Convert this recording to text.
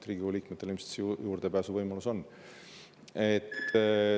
Riigikogu liikmetel ilmselt see juurdepääsuvõimalus on.